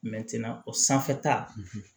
o sanfɛta